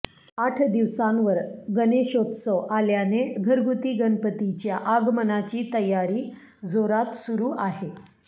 आठ दिवसांवर गणेशोत्सव आल्याने घरगुती गणपतीच्या आगमनाची तयारी जोरात सुरू आहे